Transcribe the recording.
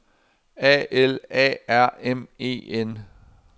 A L A R M E N